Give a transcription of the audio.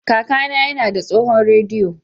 Kakana yana da tsohon rediyo.